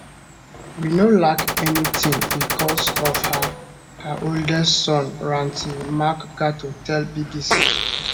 we no lack anytin bicos of her her oldest son ranti makgato tell bbc